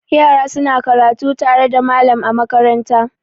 Yara suna karatu tare da malam a makaranta.